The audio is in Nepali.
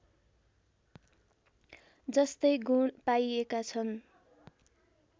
जस्तै गुण पाइएका छन्